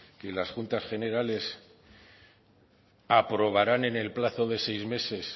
que las juntas generales aprobarán en el plazo de seis meses